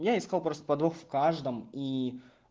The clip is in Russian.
я искал просто подвох в каждом и